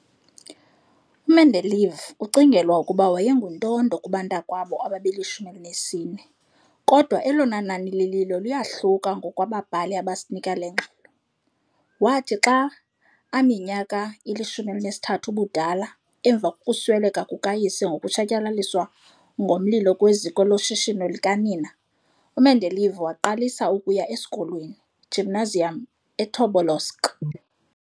U-Mendeleev ucingelwa ukuba wayenguntondo kubantakwabo ababeli-14, kodwa elona nani lililo liyohluka ngokwabhali abasinika le ngxelo. Wathi xa aminyaka ili-13 ubudala, emva kokusweleka kukayise nokutshatyalaliswa ngomlilo kweziko loshishino likanina, uMendeleev waqalisa ukuya e, school,|Gymnasium eTobolsk.